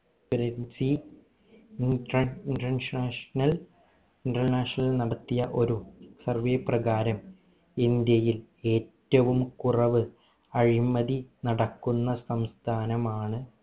parency international നടത്തിയ ഒരു survey പ്രകാരം ഇന്ത്യയിൽ ഏറ്റവും കുറവ് അഴിമതി നടക്കുന്ന സംസ്ഥാനമാണ്